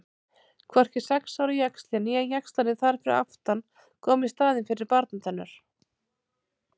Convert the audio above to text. Hvorki sex ára jaxlinn né jaxlarnir þar fyrir aftan koma í staðinn fyrir barnatennur.